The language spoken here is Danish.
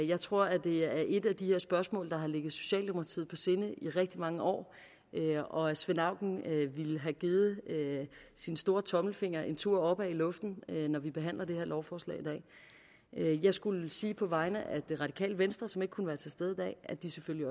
jeg tror at det er et af de her spørgsmål der har ligget socialdemokratiet på sinde i rigtig mange år og at svend auken ville have givet sin store tommelfinger en tur opad i luften når vi behandler det her lovforslag i dag jeg skulle sige på vegne af det radikale venstre som ikke kunne være til stede i dag at de selvfølgelig